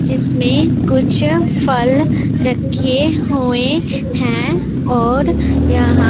जिसमें कुछ फल रखे हुएं हैं और यहां--